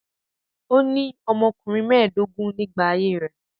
Ó ní ọmọkùnrin mẹ́ẹ̀dógún nígbà ayé rẹ̀.